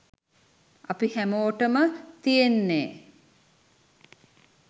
අපි හැමෝටම තියෙන්නේ